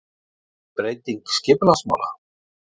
Breyting skipulagsmála?